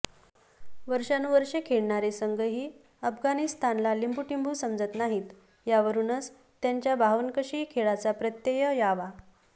वर्षानुवर्षे खेळणारे संघही अफगाणिस्तानला लिंबूटिंबू समजत नाहीत यावरूनच त्यांच्या बावनकशी खेळाचा प्रत्यय यावा